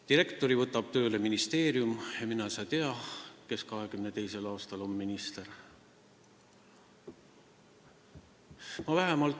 Direktori võtab tööle ministeerium ja mine sa tea, kes 2022. aastal minister on.